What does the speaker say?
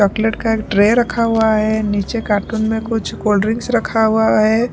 Chocolate का एक tray रखा हुआ है नीचे कार्टून में कुछ कोल्ड्रिंक्स रखा हुआ है।